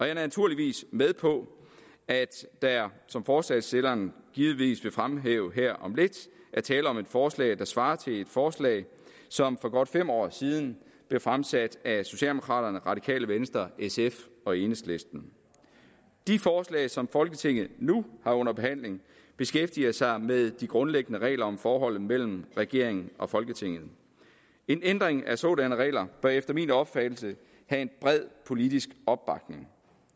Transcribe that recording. jeg er naturligvis med på at der som forslagsstillerne givetvis vil fremhæve her om lidt er tale om et forslag der svarer til et forslag som for godt fem år siden blev fremsat af socialdemokraterne radikale venstre sf og enhedslisten de forslag som folketinget nu har under behandling beskæftiger sig med de grundlæggende regler om forholdet mellem regeringen og folketinget en ændring af sådanne regler bør efter min opfattelse have en bred politisk opbakning